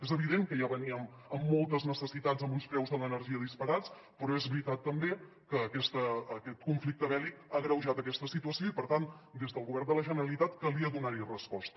és evident que ja veníem amb moltes necessitats amb uns preus de l’energia disparats però és veritat també que aquest conflicte bèl·lic ha agreujat aquesta situació i per tant des del govern de la generalitat calia donar hi resposta